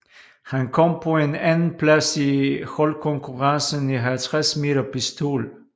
Han kom på en andenplads i holdkonkurrencen i 50 m pistol